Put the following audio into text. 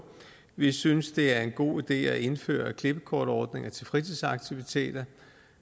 vi synes det er en god idé at indføre klippekortordninger til fritidsaktiviteter